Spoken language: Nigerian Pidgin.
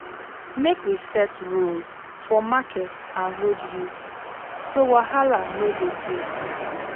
Make we set rules for market and road use, so wahala no go dey.